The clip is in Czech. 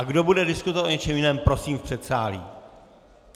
A kdo bude diskutovat o něčem jiném, prosím v předsálí.